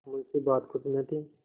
मुंशीबात कुछ न थी